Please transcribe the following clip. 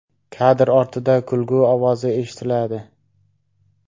Kadr ortida kulgu ovozi eshitiladi.